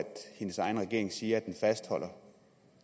hendes egen regering siger at den fastholder